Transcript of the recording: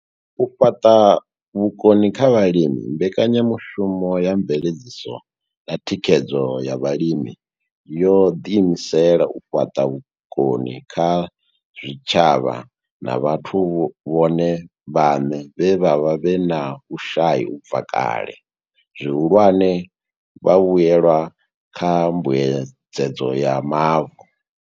U fhaṱa vhukoni kha vhalimi Mbekanya mushumo ya Mveledziso na Thikhedzo ya Vhalimi yo ḓiimisela u fhaṱa vhukoni kha zwitshavha na vhathu vhone vhaṋe vhe vha vha vhe na vhushai u bva kale, zwihulwane, vhavhuelwa kha Mbuedzedzo ya Mavu.